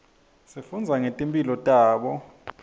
sifundza ngetimphilo tabo